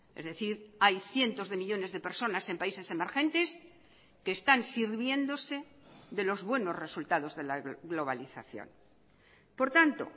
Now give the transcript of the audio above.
es decir hay cientos de millónes de personas en países emergentes que están sirviéndose de los buenos resultados de la globalización por tanto